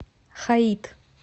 хаит